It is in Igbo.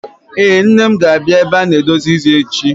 Ee, Nne m ga-abịa ebe a na-edozi isi echi.